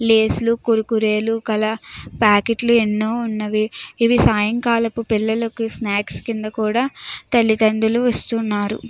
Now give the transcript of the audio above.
Lay's లు కుర్కురేలు ప్యాకెట్లు ఎన్నో ఉన్నాయి ఇవి సాయంకాలం పిల్లలకు స్నాక్స్ కింద కూడా తల్లిదండ్రులు ఇస్తున్నారు.